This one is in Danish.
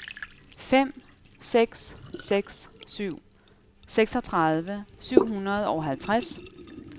fem seks seks syv seksogtredive syv hundrede og halvtreds